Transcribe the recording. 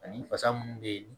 Ani fasa munnu be yen